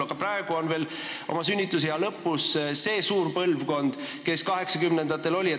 Aga praegu on veel sünnitusea lõpus see suur põlvkond, kes sündis 1980-ndatel.